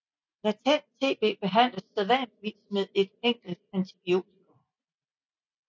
Latent TB behandles sædvanligvis med et enkelt antibiotikum